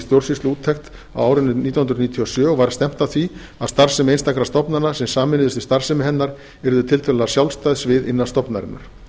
stjórnsýsluúttekt á árinu nítján hundruð níutíu og sjö og var stefnt að því að starfsemi einstakra stofnana sem sameinuðust í starfsemi hennar yrðu tiltölulega sjálfstæð svið innan stofnunarinnar